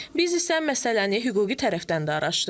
Biz isə məsələni hüquqi tərəfdən də araşdırdıq.